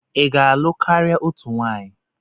ị ga-alụ karịa otu nwunye?